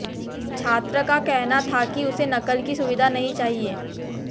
छात्र का कहना था कि उसे नकल की सुविधा नहीं चाहिए